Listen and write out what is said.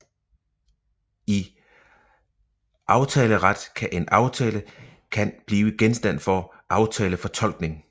I aftaleret kan en aftale kan blive genstand for aftalefortolkning